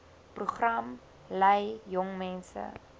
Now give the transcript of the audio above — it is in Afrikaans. program lei jongmense